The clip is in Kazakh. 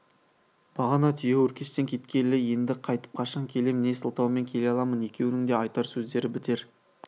бағана түйеөркештен кеткелі енді қайтып қашан келем не сылтаумен келе аламын екеуінің де айтар сөздері бітер